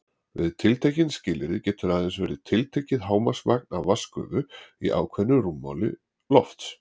Við tiltekin skilyrði getur aðeins verið tiltekið hámarksmagn af vatnsgufu í ákveðnu rúmmáli lofts.